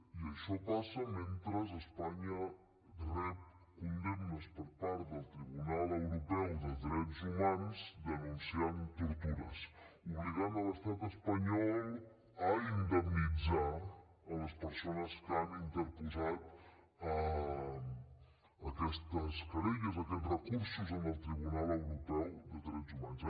i això passa mentre espanya rep condemnes per part del tribunal europeu de drets humans que denuncia tortures que obliguen l’estat espanyol a indemnitzar les persones que han interposat aquestes querelles aquests recursos en el tribunal europeu de drets humans